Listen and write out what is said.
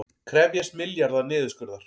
Krefjast milljarða niðurskurðar